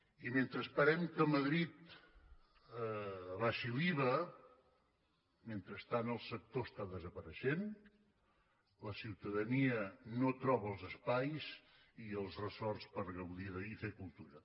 i mentre esperem que madrid abaixi l’iva mentrestant el sector està desapareixent la ciutadania no troba els espais i els ressorts per gaudir de i fer cultura